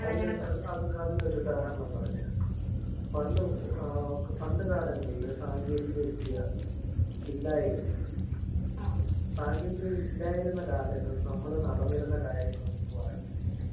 അത് അത് അതിനൊരു ഉദാഹരണം പറഞ്ഞ് തരാ. പണ്ട് ആഹ് പണ്ട് കാലങ്ങളില് സാങ്കേതിക വിദ്യ ഇല്ലായിരുന്നു. സാങ്കേതിക വിദ്യ ഇല്ലാതിരുന്ന കാലത്ത് നമ്മള് നടന്നിരുന്ന കാര്യങ്ങളൊന്നും അറിഞ്ഞിരുന്നില്ല.